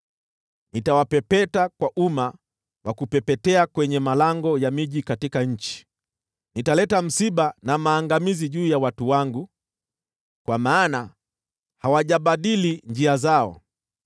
Nitawapepeta kwa uma wa kupepetea kwenye malango ya miji katika nchi. Nitaleta msiba na maangamizi juu ya watu wangu, kwa maana hawajabadili njia zao.